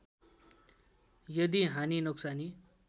यदि हानि नोक्सानी